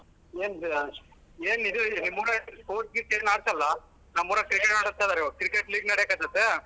ಏನ್ . ಏನ್ ಇದು ನಿಮ್ಮೂರಾಗ್ ಹಾಕಲ್ಲ? ನಮ್ಮೂರಾಗ್ cricket ಆಡಸ್ತಿದಾರೆ ಇವಾಗ್ cricket league ನಡ್ಯಕ್ ಹತ್ತೇತೆ.